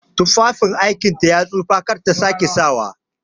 Tufafin aikinta ya tsufa kar ta sake sawa!